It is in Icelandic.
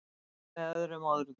með öðrum orðum